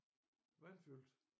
Vandfyldte